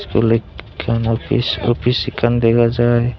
iskul ek ekkan opij opij ekkan dega jai.